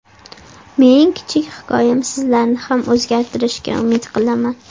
Mening kichik hikoyam sizlarni ham o‘zgartirishiga umid qilaman.